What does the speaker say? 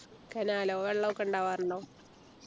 കനാലോ വെള്ളമൊക്കെ ഉണ്ടാവാറുണ്ടോ